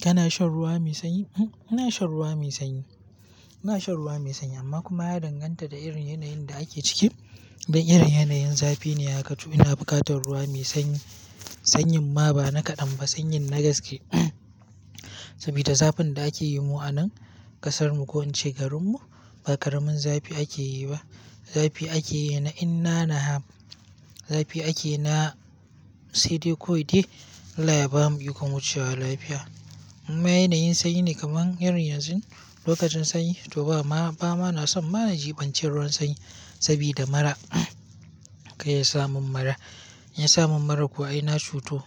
Kana shan ruwa mai sanyi? Ina shan ruwa mai sanyi. Ina shan ruwa mai sanyi amma kuma ya danganta da irin yanayin da ake ciki. Don irin wannan yanayin zafi ne haka to ina bukatar ruwa mai sanyi. Sanyin ma ba na kaɗan ba, sanyin na gaske. Saboda zafin da ake yi mu a nan ƙasarmu ko in ce garinmu ba ƙaramin zafi ake yi ba. Zafi ake yi na in na n ha, zafi ake yi na sai dai kawai dai, Allah uya ba mu ikon wucewa lafiya. In ma yana yin sanyi ne kaman irin yanzun, lokacin sanyi to ba ma, ba ma na son ma na jibanci ruwan sanyi sabida mara, kai ya sa mun mara. Ya sa mun mara kuwa ai na cuto.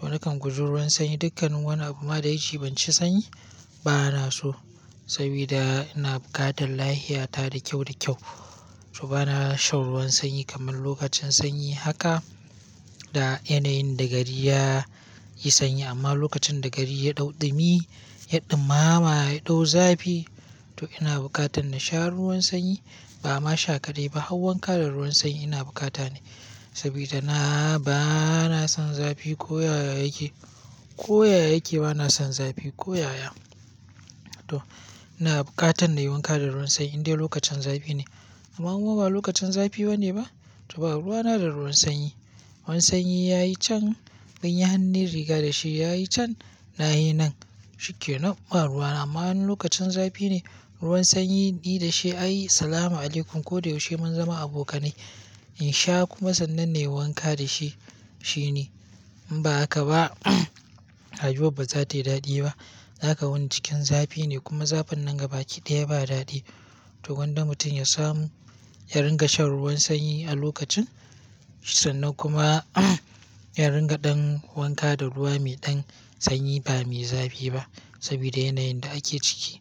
To nakan guji ruwan sanyi dukkan wani abu ma da ya jiɓanci sanyi ba na so, sabida ina bukatan lahita ta da kyau da kyau. To ba na shan ruwan sanyi kamar lokacin sanyi haka, da yana yin da gari ya yi sanyi, amma lokacin da gari ya ɗau ɗumi, ya ɗumama, ya ɗau zafi to ina bukatan na sha ruwan sanyi, ba ma sha kaɗai ba har wanka da ruwan sanyi ina bukata ne. Sabida na ba na son zafi ko yaya yake, ko yaya yake ba na son zafi ko yaya. To ina bukatan na yi wanka da ruwan sanyi in dai lokacin zafi ne. Amma kuwa in ba lokacin zafi bane ba? To ba ruwa na da ruwan sanyi. Ruwan sanyi ya yi can mun yi hannun riga da shi ya yi can, na yi nan shikkenam tab ba ruwa na amma in okacin zafi ne ruwan sanyi ni da shi, ai salama alaikum ko da yaushe mun zama abokanai. In sha kuma sannan nai wanka da shi, shi ne. In ba haka ba, rayuwar ba za tayi daɗi ba. Za ka wuni cikin zafi ne kuma zafin nan gaba ki daya ba daɗi. To gwanda mutum ya samu ya ringa shan ruwan sanyi a lokacin, sannan kuma ya ringa ɗan wanka da ruwa mai ɗan sanyi ba mai zafi ba, sabida yana yin da ake ciki.